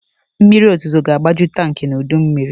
Mmiriozuzo ga-agbaju tankị n'udummiri.